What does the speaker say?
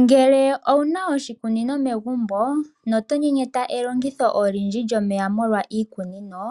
Ngele ouna oshikunino megumbo no tonyenyeta elongitho olindji lyomeya molwa iikunino